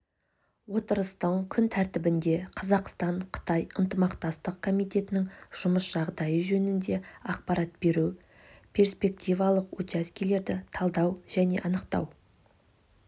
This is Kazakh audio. отырыстың күн тәртібінде қазақстан-қытай ынтымақтастық комитетінің жұмыс жағдайы жөнінде ақпарат беру перспективалық учаскелерді талдау және анықтау